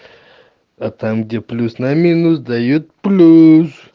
а там где плюс на минус даёт плюс